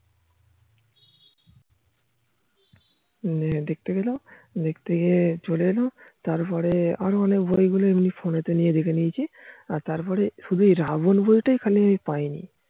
দেখতে গেলাম দেখতে গিয়ে চলে এলাম তার পরে আরো অনেক বই গুলো এমনি phone তে নিয়ে দেখে নিয়েছি আর তার পরে এই রাবন বই টাই খালি আমি পাই নি